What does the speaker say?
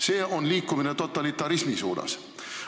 See on liikumine totalitarismi suunas.